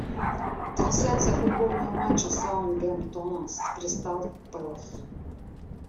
трансляция футбольного матча саутгемптона с кристал пэлас